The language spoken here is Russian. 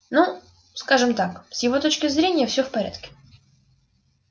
ну скажем так с его точки зрения всё в порядке